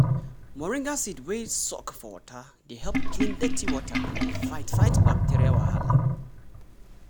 moringa seed wey soak for water dey help clean dirty water and dey fight fight bacteria wahala.